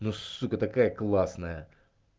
ну сука такая классная